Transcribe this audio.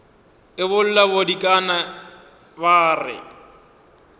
e bolla bodikana ba re